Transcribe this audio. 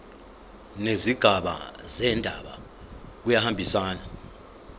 nezigaba zendaba kuyahambisana